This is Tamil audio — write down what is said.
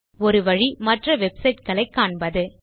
ஒரு வழி மற்ற வெப்சைட் களை காண்பது